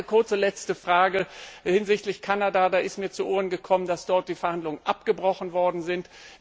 Und noch eine kurze letzte Frage hinsichtlich Kanada Mir ist zu Ohren gekommen, dass die Verhandlungen abgebrochen worden sind.